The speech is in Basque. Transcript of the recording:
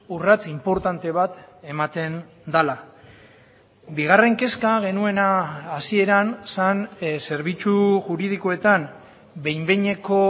urrats inportante bat ematen dela bigarren kezka genuena hasieran zen zerbitzu juridikoetan behin behineko